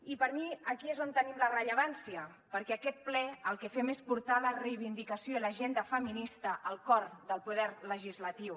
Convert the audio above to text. i per mi aquí és on tenim la rellevància perquè amb aquest ple el que fem és portar la reivindicació i l’agenda feminista al cor del poder legislatiu